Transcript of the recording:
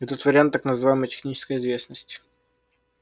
этот вариант так называемой технической известности